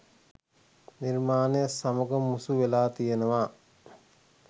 නිර්මාණය සමග මුසු වෙලා තියෙනව